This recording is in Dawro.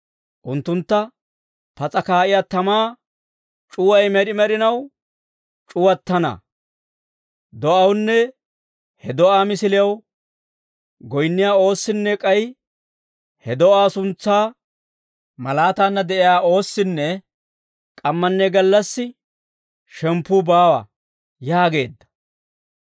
Unttuntta pas'a kaa'iyaa tamaa c'uway med'i med'inaw c'uwattana. Do'awunne he do'aa misilew goyinniyaa oossinne k'ay he do'aa suntsaa malaataanna de'iyaa oossinne k'ammanne gallassi shemppuu baawa» yaageedda.